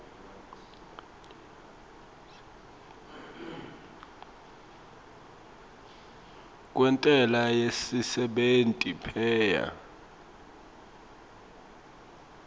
kwentsela yesisebenti paye